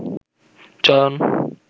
চয়ন